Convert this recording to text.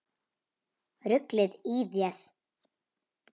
Ruglið í þér!